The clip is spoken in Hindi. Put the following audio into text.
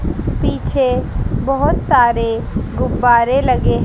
पीछे बहोत सारे गुब्बारे लगे--